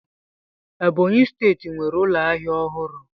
Ebonyi steeti nwere ụlọ ahịa ọhụrụ.